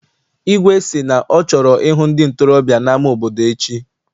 Igwe sị na ọ chọrọ ịhụ ndị ntorobịa n'ama obodo echi.